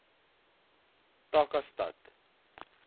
takastad